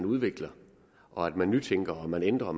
udvikler og at man nytænker og at man ændrer